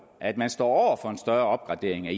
at man står for en større opgradering af